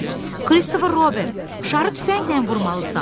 Kristofer Robin, şarı tüfənglə vurmalısan.